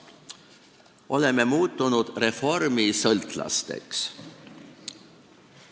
Oleme muutunud reformisõltlasteks.